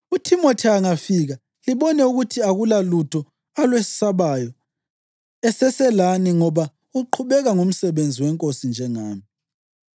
UThimothi angafika, libone ukuthi akulalutho alwesabayo eseselani ngoba uqhubeka ngomsebenzi weNkosi njengami.